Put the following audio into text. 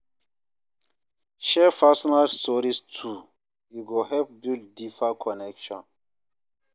Share personal stories too, e go help build deeper connection.